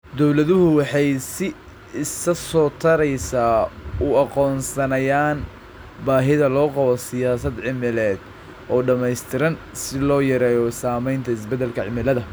Dawladuhu waxay si isa soo taraysa u aqoonsanayaan baahida loo qabo siyaasad cimileed oo dhammaystiran si loo yareeyo saamaynta isbeddelka cimilada.